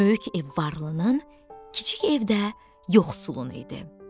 Böyük ev varlının, kiçik ev də yoxsulun idi.